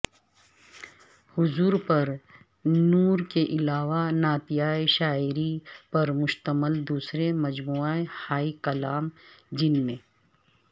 حضور پر نور کے علاوہ نعتیہ شاعری پر مشتمل دوسرے مجموعہ ہائے کلام جن میں